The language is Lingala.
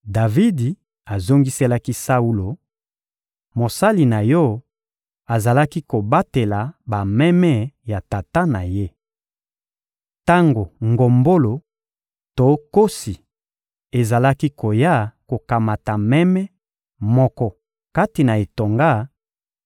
Davidi azongiselaki Saulo: — Mosali na yo azalaki kobatela bameme ya tata na ye. Tango ngombolo to nkosi ezalaki koya kokamata meme moko kati na etonga,